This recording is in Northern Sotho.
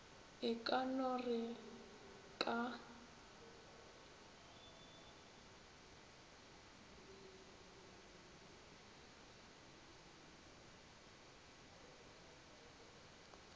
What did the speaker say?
e ka no re ka